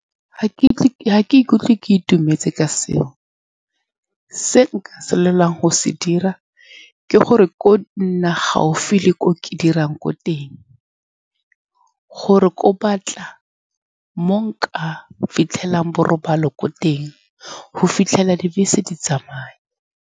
Ga ke , ga ke ikutlwe ke itumetse ka seo. Se nka se lwelang go se dira ke gore ko nna gaufi le ko ke dirang ko teng, gore ko batla mo nka fitlhelang borobalo ko teng, go fitlhela dibese di tsamaya.